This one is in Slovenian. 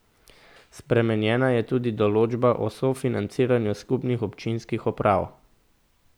Spremenjena je tudi določba o sofinanciranju skupnih občinskih uprav.